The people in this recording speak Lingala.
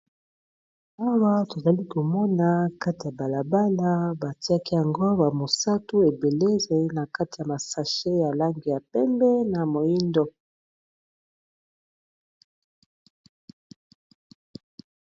Awa tozali komona kati ya balabala batiaki yango bamosatu ebelele na kati ya masashe ya langi ya pembe na moindo